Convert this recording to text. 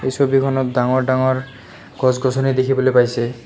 এই ছবিখনত ডাঙৰ ডাঙৰ গছ গছনি দেখিবলৈ পাইছে।